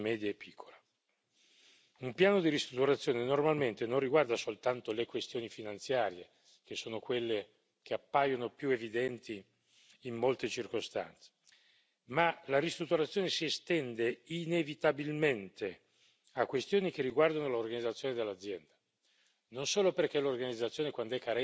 Un piano di ristrutturazione normalmente non riguarda soltanto le questioni finanziarie, che sono quelle che appaiono più evidenti in molte circostanze, ma la ristrutturazione si estende inevitabilmente a questioni che riguardano l'organizzazione dell'azienda, non solo perché l'organizzazione, quando è carente, produce le difficoltà